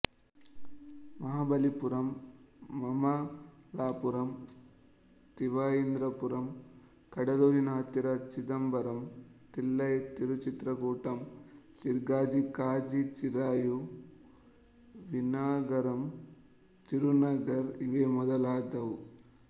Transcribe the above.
ಮಹಾಬಲಿಪುರಂ ಮಮ್ಮಲಾಪುರಂ ತಿವಾಯಿಂದ್ರಪುರಂ ಕಡಲೂರಿನ ಹತ್ತಿರ ಚಿದಂಬರಂ ತಿಲ್ಲೈ ತಿರುಚಿತ್ರಕೂಟಂ ಸೀರ್ಗಾಜಿ ಕಾಜಿ ಚಿರಾಮ ವಿನ್ನಾಗರಂ ತಿರುನಗರ್ ಇವೇ ಮೊದಲಾದವು